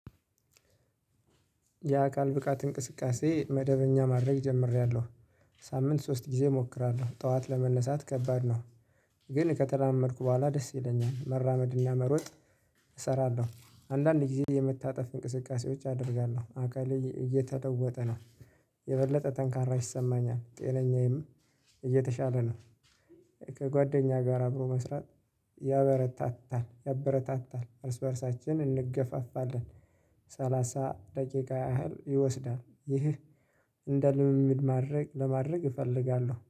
የአካል ብቃት እንቅስቃሴ መደበኛ ማድረግ ጀምሬያለሁ። ሳምንት ሶስት ጊዜ እሞክራለሁ ጠዋት ለመነሳት ከባድ ነው። ግን ከተራመድኩ በኋላ ደስ ይለኛል መራመድና መሮጥ። እሰራለሁ አንዳንዴ የመታጠፍ እንቅስቃሴዎች አደርጋለሁ አካሌ እየተለወጠ ነው። የበለጠ ጠንካራ ይሰማኛል ጤነኛዬም እየተሻለ ነው። ከጓደኛ ጋር አብሮ መስራት ያበረታታል ያበረታታል እርስ በእርሳችን እንገፋፋለን። ሰላሳ ደቂቃ ያህል ይወስዳል ይህ። እንደ ልምምድ ማድረግ ለማድረግ እፈልጋለሁ